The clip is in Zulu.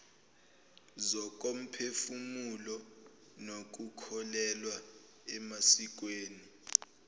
zokomphefumulo nokukholelwa emasikweni